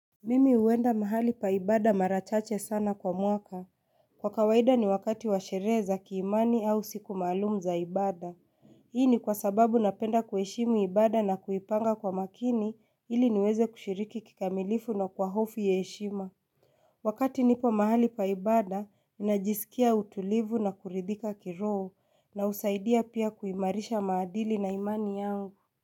Mimi huenda mahali paibada mara chache sana kwa mwaka. Kwa kawaida ni wakati washerehe za kiimani au siku maalum za ibada. Hii ni kwa sababu napenda kuheshimu ibada na kuipanga kwa makini ili niweze kushiriki kikamilifu na kwa hofu ya heshima. Wakati nipo mahali paibada minajisikia utulivu na kuridhika kiroho. Na usaidia pia kuimarisha maadili na imani yangu.